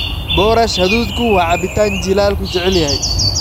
Boorash hadhuudhku waa cabitaan jiilaalku jecel yahay.